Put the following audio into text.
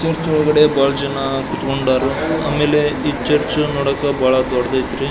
Church ಒಳಗಡೆ ಬಹಳ ಜನ ಕುಂತ್ಕೊಂಡರು ಆಮೇಲೆ ಈ ಚರ್ಚ್ ನೋಡಕ್ ಬಹಳ ದೊಡ್ಡದೈತಿ.